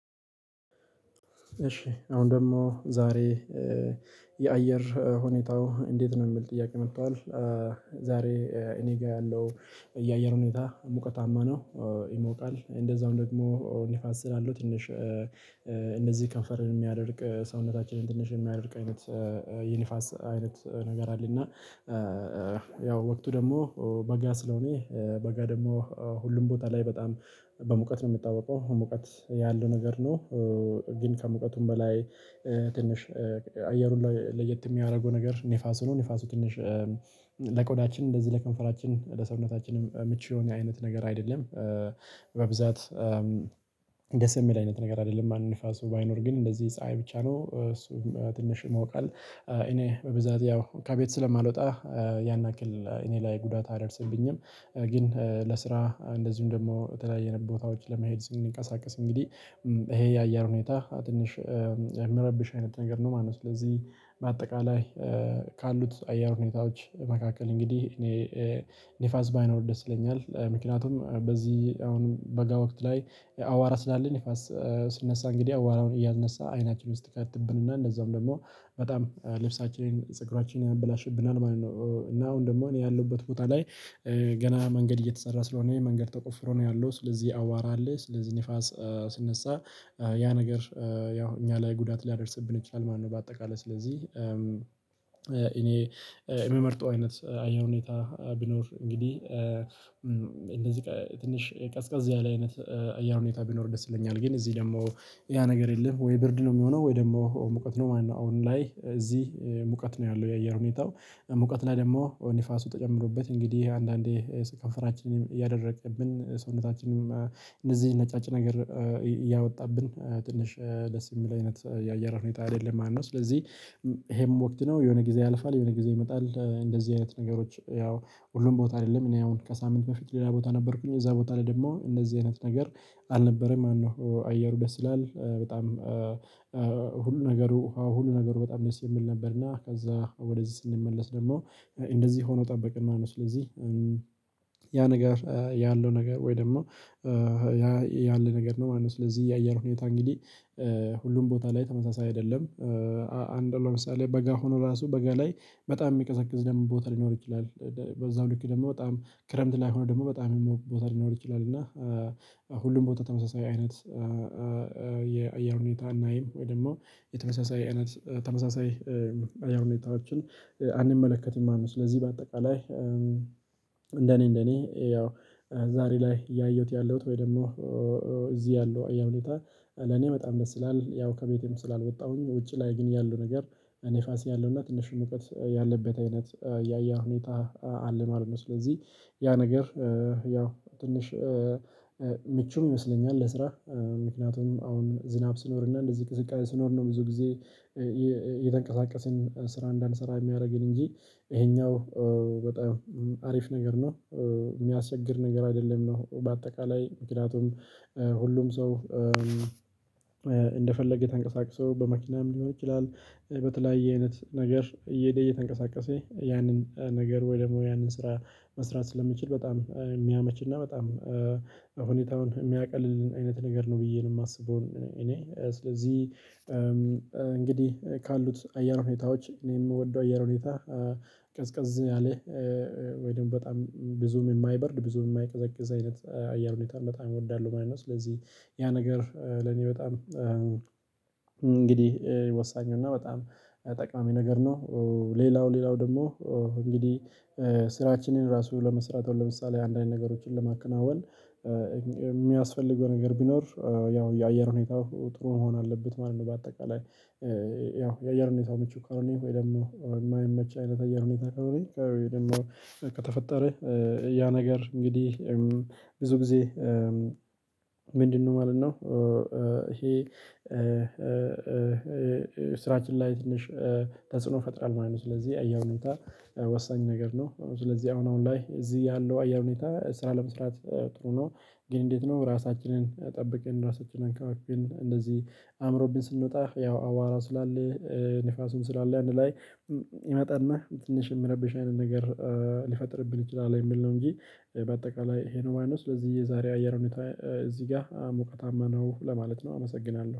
እሺ አሁን ደግሞ ዛሬ የአየር ሁኔታው እንዴት ነው የሚል ጥያቄ መጥቷል? ዛሬ እኔ ጋር ያለው የአየር ሁኔታ ሙቀታማ ነው ይሞቃል እንደዛውም ደግሞ ንፋስ ስላለው ትንሽ እነዚህ ከንፈርን የሚያደርቅ ሰውነታችንን ትንሽ የሚያደርቅ አይነት የነፋስ አይነት ነገር አለ። እና ያው ወቅቱ ደግሞ በጋ ስለሆነ በጋ ደግሞ ሁሉም ቦታ ላይ በጣም በሙቀት ነው የሚታወቀው ሙቀት ያለው ነገር ነው። ግን ከሙቀቱም በላይ ትንሽ አየር ሁላ ለየት የሚያደርገው ነገር ንፋሱ ነው ንፋሱ ትንሽ ለቆዳችን እንደዚህ ለከንፈራችን ለሰውነታችንም ምቹ የሆነ አይነት ነገር አይደለም። በብዛት ደስ የሚል አይነት ነገር አይደለም። ማን ንፋሱ ባይኖር ግን እንደዚህ ፀሀይ ብቻ ነው እሱም ትንሽ ይሞቃል እኔ በብዛት ያው ከቤት ስለማልወጣ። ያን ያክል እኔ ላይ ጉዳት አያደርስብኝም። ግን ለስራ እንደዚሁም ደግሞ የተለያየ ቦታዎች ለመሄድ ስንቀሳቀስ እንግዲህ ይሄ የአያር ሁኔታ ትንሽ የሚረብሽ አይነት ነገር ነው ማለት ነው። ስለዚህ በአጠቃላይ ካሉት አየር ሁኔታዎች መካከል እንግዲህ እኔ ንፋስ ባይኖር ደስ ይለኛል ምክንያቱም በዚህ አሁንም በጋ ወቅት ላይ አዋራ ስላለ ንፋስ ሲነሳ እንግዲህ አዋራውን እያነሳ አይናችሁን ውስጥ ይከትብንና እንደዛውም ደግሞ በጣም ልብሳችንን ፀጉራችንን ያበላሽብናል ማለት ነው። እና አሁን ደግሞ እኔ ያለሁበት ቦታ ላይ ገና መንገድ እየተሰራ ስለሆነ ይሄ መንገድ ተቆፍሮ ነው ያለው ስለዚህ አዋራ አለ ስለዚህ ንፋስ ሲነሳ ያ ነገር ያው እኛ ላይ ጉዳት ሊያደርስብን ይችላል ማለት ነው። በአጠቃላይ ስለዚህ እኔ የምመርጠው አይነት አየር ሁኔታ ቢኖር እንግዲህ እንደዚህ ትንሽ ቀዝቀዝ ያለ አይነት አየር ሁኔታ ቢኖር ደስ ይለኛል ግን እዚህ ደግሞ ያ ነገር የለም። ወይ ብርድ ነው የሚሆነው ወይ ደግሞ ሙቀት ነው ማለት ነው። አሁን ላይ እዚህ ሙቀት ነው ያለው የአየር ሁኔታው ሙቀት ላይ ደግሞ ንፋሱ ተጨምሮበት እንግዲህ አንዳንዴ ከንፈራችንን እያደረቀብን ሰውነታችንንም እነዚህን ነጫጭ ነገር እያወጣብን ትንሽ ደስ የሚል አይነት የአየር ሁኔታ አይደለም ማለት ነው። ስለዚህ ይሄም ወቅት ነው የሆነ ጊዜ ያልፋል የሆነ ጊዜ ይመጣል እንደዚህ አይነት ነገሮች ያው ሁሉም ቦታ አይደለም እኔ አሁን ከሳምንት በፊት ሌላ ቦታ ነበርኩኝ እዛ ቦታ ላይ ደግሞ እነዚህ አይነት ነገር አልነበረም ማለት ነው። አየሩ ደስ ይላል በጣም ሁሉ ነገሩ ውሃው ሁሉ ነገሩ በጣም ደስ የሚል ነበር። እና ከዛ ወደዚህ ስንመለስ ደግሞ እንደዚህ ሆኖ ጠበቀን ማለት ነው። ስለዚህ ያ ነገር ያለው ነገር ወይ ደግሞ ያ ያለ ነገር ነው ማለት ነው። ስለዚህ የአየር ሁኔታ እንግዲህ ሁሉም ቦታ ላይ ተመሳሳይ አይደለም። አንድ ለምሳሌ በጋ ሆኖ ራሱ በጋ ላይ በጣም የሚቀዘቅዝ ደግሞ ቦታ ሊኖር ይችላል። በዛው ልክ ደግሞ በጣም ክረምት ላይ ሆኖ ደግሞ በጣም የሚሞቅ ቦታ ሊኖር ይችላል። እና ሁሉም ቦታ ተመሳሳይ አይነት የአየር ሁኔታ እናይ ወይ ደግሞ የተመሳሳይ አይነት ተመሳሳይ የአየር ሁኔታዎችን አንመለከትም ማለት ነው። ስለዚህ በአጠቃላይ እንደኔ እንደኔ ያው ዛሬ ላይ ያየሁት ያለሁት ወይ ደግሞ እዚህ ያለው አየር ሁኔታ ለኔ በጣም ደስ ይላል። ያው ከቤቴም ስላልወጣሁኝ ውጪ ላይ ግን ያለው ነገር ንፋስ ያለውና ትንሽ ሙቀት ያለበት አይነት የአየር ሁኔታ አለ ማለት ነው። ስለዚህ ያ ነገር ያው ትንሽ ምቹም ይመስለኛል። ለስራ ምክንያቱም አሁን ዝናብ ሲኖር እና እንደዚህ ቅዝቃዜ ሲኖር ነው ብዙ ጊዜ የተንቀሳቀስን ስራ እንዳንሰራ የሚያደርግን እንጂ ይሄኛው በጣም አሪፍ ነገር ነው። የሚያስቸግር ነገር አይደለም። ነው በአጠቃላይ ምክንያቱም ሁሉም ሰው እንደፈለገ ተንቀሳቅሶ በመኪናም ሊሆን ይችላል። በተለያየ አይነት ነገር እየሄደ እየተንቀሳቀሰ ያንን ነገር ወይ ደግሞ ያንን ስራ መስራት ስለሚችል በጣም የሚያመችና በጣም ሁኔታውን የሚያቀልልን አይነት ነገር ነው ብዬ ነው የማስበው። እኔ ስለዚህ እንግዲህ ካሉት አየር ሁኔታዎች እኔ የምወደው አየር ሁኔታ ቀዝቀዝ ያለ ወይ ደግሞ በጣም ብዙም የማይበርድ ብዙም የማይቀዘቅዝ አይነት አየር ሁኔታን በጣም እወዳለሁ ማለት ነው። ስለዚህ ያ ነገር ለኔ በጣም እንግዲህ ወሳኙና በጣም ጠቃሚ ነገር ነው። ሌላው ሌላው ደግሞ እንግዲህ ስራችንን ራሱ ለመስራት አሁን ለምሳሌ አንዳንድ ነገሮችን ለማከናወን የሚያስፈልገው ነገር ቢኖር ያው የአየር ሁኔታው ጥሩ መሆን አለበት ማለት ነው። በአጠቃላይ ያው የአየር ሁኔታው ምቹ ከሆነ ወይ ደግሞ የማይመች አይነት የአየር ሁኔታ ከሆነ ደግሞ ከተፈጠረ ያ ነገር እንግዲህ ብዙ ጊዜ ምንድነው ማለት ነው? ይሄ ስራችን ላይ ትንሽ ተጽዕኖ ይፈጥራል ማለት ነው። ስለዚህ አየር ሁኔታ ወሳኝ ነገር ነው። ስለዚህ አሁን ላይ እዚህ ያለው አየር ሁኔታ ስራ ለመስራት ጥሩ ነው። ግን እንዴት? ነው ራሳችንን ጠብቀን ራሳችንን አንከባክበን አምሮብን ስንወጣ ያው አዋራ ስላለ ንፋሱም ስላለ አንድ ላይ ይመጣና ትንሽ የሚረብሽ አይነት ነገር ሊፈጥርብን ይችላል የሚል ነው። እንጂ በአጠቃላይ ይሄ ነው ማለት ነው። ስለዚህ የዛሬው አየር ሁኔታ እዚህ ጋር ሙቀታማ ነው ለማለት ነው። አመሰግናለሁ